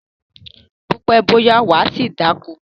Bó pẹ́, bó yá, wà á ṣì dáko.